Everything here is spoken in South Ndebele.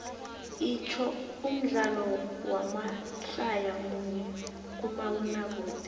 itsho umdlalo wamadlaya munye kumabonakude